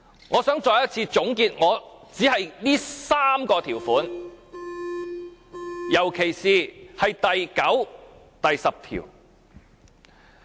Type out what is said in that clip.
我想再一次總結我這3個條款，特別是第9條和第10條。